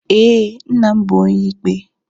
Ee, nna m bụ Onyeikpe.